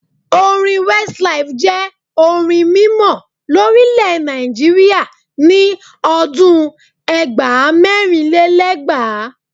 Orin Westlife jẹ́ orin mímọ lórílèè Nàìjíríà ni ọdún ẹgbàá - mẹ́rinlélẹ́gbàá.